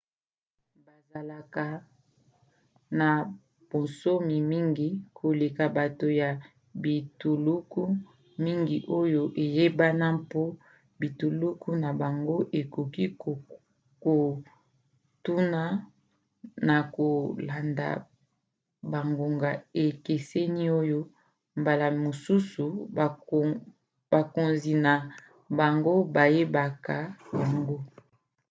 bazalaka na bonsomi mingi koleka bato ya bituluku mingi oyo eyebana mpo bituluku na bango ekoki kokotuna na kolanda bangonga ekeseni oyo mbala mosusu bakonzi na bango bayebaka yango